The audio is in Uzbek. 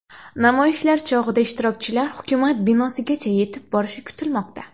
Namoyishlar chog‘ida ishtirokchilar hukumat binosigacha yetib borishi kutilmoqda.